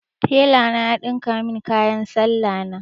Telana ya ɗinka min kayan salla na.